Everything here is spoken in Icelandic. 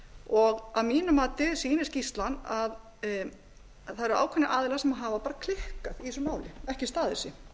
viðurkennast að mínu mati sýnir skýrslan að það eru ákveðnir aðilar sem hafa bara klikkað í þessu máli ekki staðið sig